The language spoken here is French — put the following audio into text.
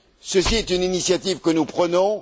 Ceci est une initiative que nous prenons.